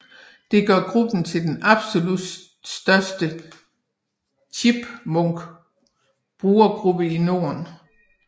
Det gør gruppen til den absolut største Chipmunk brugergruppe i Norden